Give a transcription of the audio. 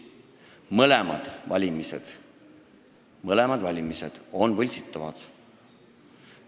Mõlemad valimisviisid on võltsitavad.